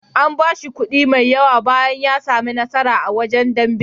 An bashi kuɗi mai yawa bayan ya sami nasara a wasan dambe.